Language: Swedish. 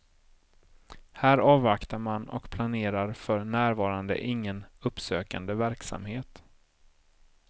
Här avvaktar man och planerar för närvarande ingen uppsökande verksamhet.